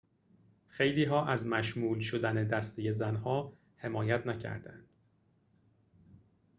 خیلی‌ها از مشمول شدن دسته زن‌ها حمایت نکردند